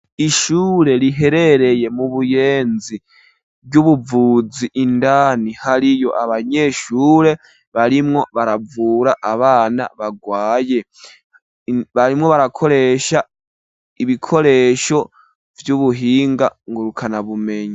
Ishure riherereye mu Buyenzi, ry'ubuvuzi, indani hariyo abanyeshure barimwo baravura abana bagwaye. Barimwo barakoresha ibikoresho vy'ubuhinga ngurukana bumenyi.